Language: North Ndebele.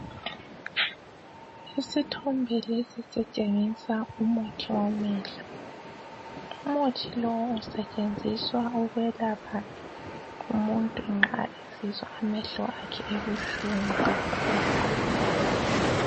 Isithombe lesi sitshengisa umuthi wamehlo. Umuthi lowu usetshenziswa ukwelapha umuntu nxa esizwa amehlo akhe ebuhlungu kakhulu.